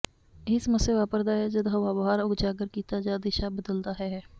ਇਹ ਸਮੱਸਿਆ ਵਾਪਰਦਾ ਹੈ ਜਦ ਹਵਾ ਬਾਹਰ ਉਜਾਗਰ ਕੀਤਾ ਜ ਦਿਸ਼ਾ ਬਦਲਦਾ ਹੈ ਹੈ